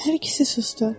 Hər ikisi susdu.